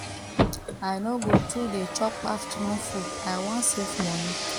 i no go too dey chop afternoon food i wan save money